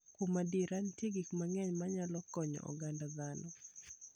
Kuom adier, nitie gik mang'eny manyalo konyo oganda dhano.